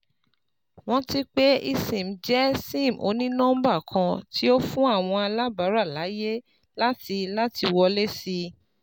Ranti pe eSIM jẹ SIM oni-nọmba kan ti o fun awọn alabara laaye lati lati wọle si